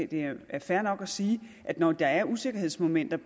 det er fair nok at sige at når der er usikkerhedsmomenter